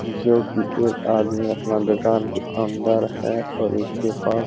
जो की एक आदमी अपना दुकान के अंदर है और उस के पास--